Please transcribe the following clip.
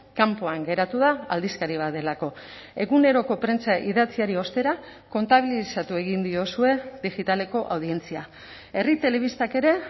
kanpoan geratu da aldizkari bat delako eguneroko prentsa idatziari ostera kontabilizatu egin diozue digitaleko audientzia herri telebistak ere